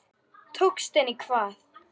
Tókst henni hvað?